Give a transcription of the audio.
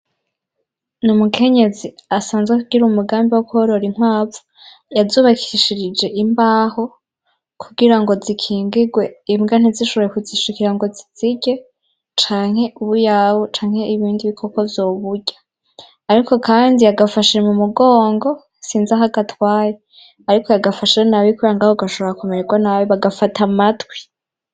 Ni umukenyezi asanzwe kugira umugambi wo kuhorora intwavu yazubakishirije imbaho kugira ngo zikingirwe imbwa ntizishoboye kuzishikira ngo zizige canke ubuyawe canke ibindi bikoko zoburya, ariko, kandi yagafashije mu mugongo sinzaho agatwaye, ariko yagafasha nonabikorangaho gashobora akomererwa nabbi bagafata matwi.